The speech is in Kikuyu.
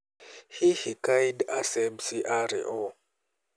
Hihi Caid Essebsi aarĩ nũ?